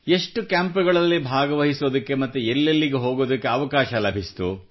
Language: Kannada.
ಎಷ್ಟು ಕ್ಯಾಂಪ್ಗಳಲ್ಲಿ ಭಾಗವಹಿಸುವ ಎಲ್ಲೆಲ್ಲಿ ಹೋಗುವ ಅವಕಾಶ ಲಭಿಸಿತು